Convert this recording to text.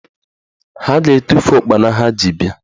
Ha ga-etufu ụkpana ha ji bịa